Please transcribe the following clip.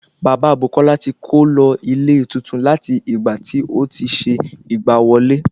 Bàbá Bùkọ́lá ti kó lọ ilé tuntun láti ìgbà tí otí ṣe ìgbà wọlé